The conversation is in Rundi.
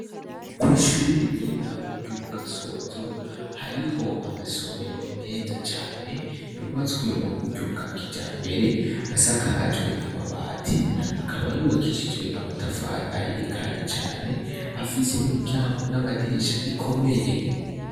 Kwishure ry' intango ryo mugasozo hariho amasomero meza cane yubatswe mu buryo bwa kijambere asakajwe amabati akaba yubakishijwe amatafari ahiye kandi cane afise imiryango n' amadirisha ikomeye.